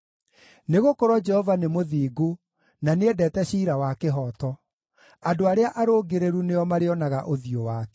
Nĩgũkorwo Jehova nĩ mũthingu, na nĩendete ciira wa kĩhooto; andũ arĩa arũngĩrĩru nĩo marĩonaga ũthiũ wake.